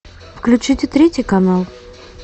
включите третий канал